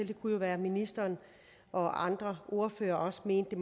det kunne jo være at ministeren og andre ordførere også mente